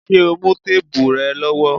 Ṣé o mú téèbù rẹ lọ́wọ́?